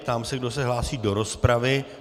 Ptám se, kdo se hlásí do rozpravy.